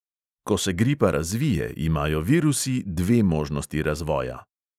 Ko se gripa razvije, imajo virusi dve možnosti razvoja.